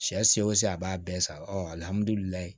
Sɛ se o se a b'a bɛɛ san alihamdulilayi